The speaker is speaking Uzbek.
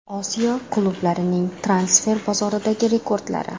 Osiyo klublarining transfer bozoridagi rekordlari.